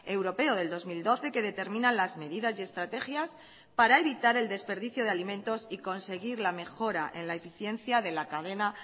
europeo del dos mil doce que determina las medidas y estrategias para evitar el desperdicio de alimentos y conseguir la mejora en la eficiencia de la cadena